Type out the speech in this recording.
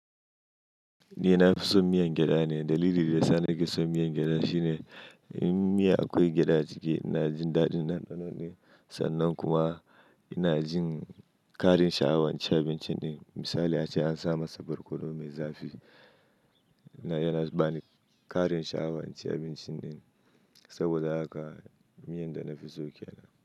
Ni na fi son miyan gyada ne. Dalilin da sa ni ke son miyan gyada shine, in miya akwai gyada ciki, ina jin daɗin ɗanɗano ɗin. Sannan kuma ina jin karin sha'awan in ci abincin ɗin. Misali ace an sa masa barkono mai zafi. Ina, yana bani ƙarin sha'awan in ci abincin ɗin, saboda haka, miyan da na fi so ke nan.